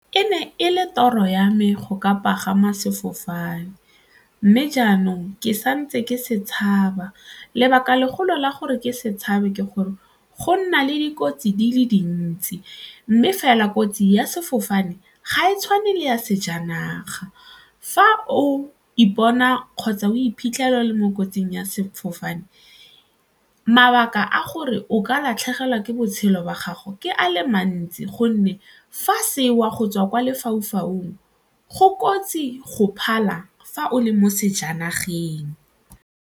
E ne e le toro ya me go ka pagama sefofane mme jaanong ke santse ke se tshaba, lebaka legolo la gore ke se tshabe ke gore go nna le dikotsi di le dintsi mme fela kotsi ya sefofane ga e tshwane le ya sejanaga. Fa o ipona kgotsa o iphitlhela o le mo kotsing ya sefofane, mabaka a gore o ka latlhegelwa ke botshelo jwa gago ke a le mantsi gonne fa se wa go tswa kwa lefaufaung go kotsi go phala fa o le mo sejanageng.